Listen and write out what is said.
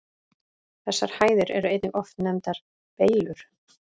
Þessar hæðir eru einnig oft nefndar Beylur.